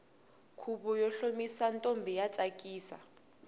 khuvo wo hlomisa ntombi wa tsakisa